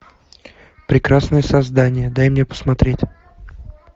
прекрасное создание дай мне посмотреть